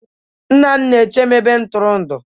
nna m na-eche m ebe ntụrụndụ